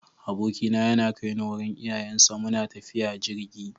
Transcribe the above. Abokina yana kai ni wurin iyayensa, muna tafiya jirgi.